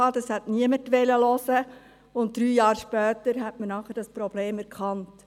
Davon hat niemand etwas hören wollen, und drei Jahre später hat man dann das Problem erkannt.